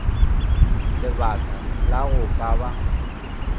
lebaka la go ka ba